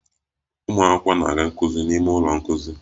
Ụmụ akwụkwọ na-aga nkuzi n'ime ụlọ nkuzi